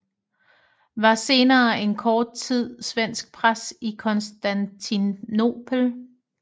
Var senere en kort tid svensk præst i Konstantinopel